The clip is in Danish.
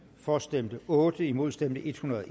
for stemte otte imod stemte en hundrede og